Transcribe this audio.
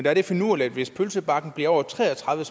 er det finurlige at hvis pølsebakken bliver over tre og tredive